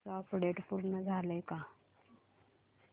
कालचं अपडेट पूर्ण झालंय का